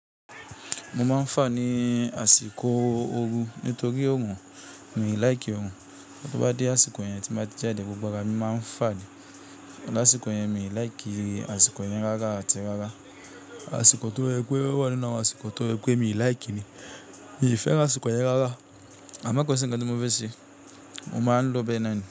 Mo máa ń fa ni àsìkò ooru nítorí orun, mi ò láì kí orun. To bá dé àsìkò yẹn tí má ti jáde, gbogbo ara mi máa ń fani. L'ásíkò yẹn, mi ò láì kí àsìkò yẹn rárá àti rárá. Àsìkò tó ye pe owà nínú àwọn àsìkò tó ye pẹ́ mi ò láì kí ni. Mi ò fẹ́ àsìkò yẹn rárá. A máa kọ sí ńnkan tí mo fẹ́ ṣe. Mo máa lọ Benin.